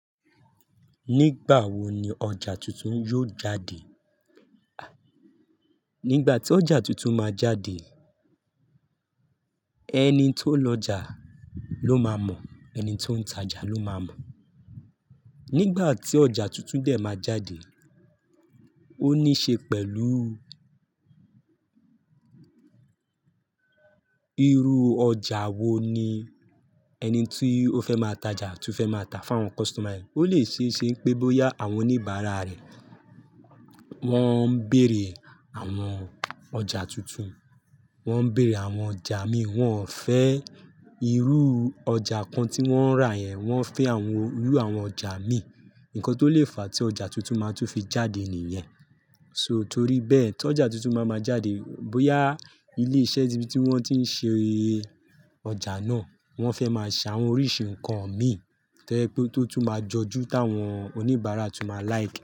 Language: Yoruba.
Nígbà wo ni ọjà tuntun yóò jáde? Nígbà tí ọjà tuntun máa jáde, ẹni tó ń lọjà ló máa mọ̀, ẹni tó ń tajà ló máa mọ̀. Nígbà tí ọjà tuntun dẹ̀ máa jáde, ó níí ṣe pẹ̀lú irú ọjà wo ni ẹni tí ó fẹ́ máa tajà tún fẹ́ máa ta fún àwọn customer. Ó lè ṣeéṣe pé bóyá àwọn oníbàárà rẹ̀, wọ́n ń bèèrè àwọn ọjà tuntun, wọ́n ń bèèrè àwọn ọjà mí wọ́n ò fẹ́ irú ọjà kan tí wọ́n rà yẹn, wọ́n fẹ́ àwọn irú àwọn ọjà mí nǹkan tó lè fa tí ọjà tuntun máa tún fi jáde nìyẹn. Só torí bẹ́ẹ̀ tí ọjà tuntun bá máa jáde, bóyá ilé iṣẹ́ ibi tí wọ́n ti ń ṣe ọjà náà wọ́n fẹ́ máa ṣàwọn oríṣi nǹkan mì tẹ́lẹ̀ pé ó tún máa jọju tí àwọn oníbàárà tún máa like.